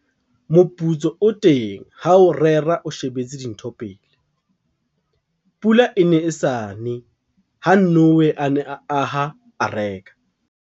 Grabber- Moputso o teng ha o rera o shebetse dintho pele, pula e ne e sa ne ha Noe a ne a aha areka.